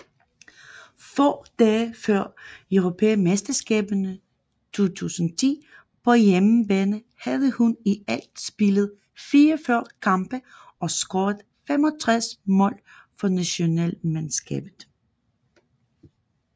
Få dage før Europamesterskaberne 2010 på hjemmebane havde hun i alt spillet 44 kampe og scoret 65 mål for nationalmandskabet